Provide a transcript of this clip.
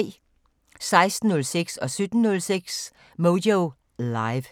16:06: Moyo Live 17:06: Moyo Live